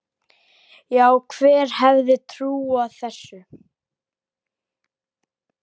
Já, hver hefði trúað þessu?